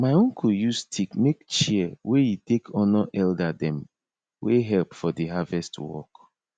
my uncle use stick make chair wey e take honour elder dem wey help for the harvest work